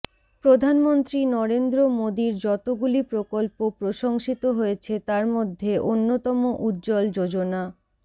প্রধানমন্ত্রী নরেন্দ্র মোদীর যতগুলি প্রকল্প প্রশংসিত হয়েছে তার মধ্যে অন্যতম উজ্জ্বল যোজনা